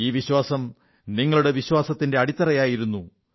ഈ വിശ്വാസം നിങ്ങളുടെ വിശ്വാസത്തിന്റെ അടിത്തറയുടേതായിരുന്നു